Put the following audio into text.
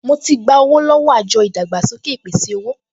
Mo ti gba owó lọ́wọ́ àjọ ìdàgbàsókè ìpèsè-owó